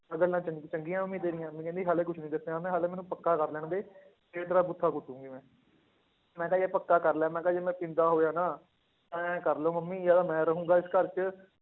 ਇਹ ਗੱਲਾਂ ਚੰਗ~ ਚੰਗੀਆਂ ਮੰਮੀ ਤੇਰੀਆਂ, ਮੰਮੀ ਕਹਿੰਦੀ ਹਾਲੇ ਕੁਛ ਨੀ ਦੱਸਿਆ ਮੈਂ ਹਾਲੇ ਮੈਨੂੰ ਪੱਕਾ ਕਰ ਲੈਣਦੇ ਫਿਰ ਤੇਰਾ ਪੁੱਠਾ ਕੁਟਾਂਗੀ ਮੈਂ, ਮੈਂ ਕਿਹਾ ਯਾਰ ਪੱਕਾ ਕਰ ਲੈ ਮੈਂ ਕਿਹਾ ਜੇ ਮੈਂ ਪੀਂਦਾ ਹੋਇਆ ਨਾ ਇਉਂ ਕਰ ਲਓ ਮੰਮੀ ਜਾਂ ਤਾਂ ਮੈਂ ਰਹਾਂਗਾ ਇਸ ਘਰ 'ਚ